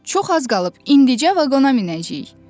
Çox az qalıb, indicə vaqona minəcəyik.